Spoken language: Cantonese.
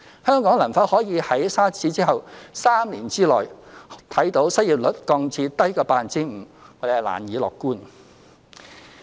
香港能否可以如沙士之後，在3年之內看見失業率降至低於 5%， 我們難以樂觀。